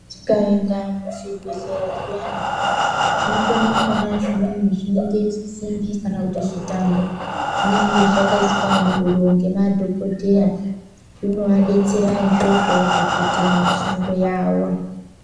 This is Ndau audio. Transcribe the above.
Tikaenda muzvibhedhlera zviyani tinokone kuona zvinhu simbi kana kuti zvitambo zvinonga zvakaiswa muhuro ngemadhokotera zvinovabetsera izvozvo pakuite mishando yavo.